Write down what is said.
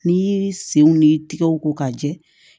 N'i y'i senw ni tigɛw ko ka jɛ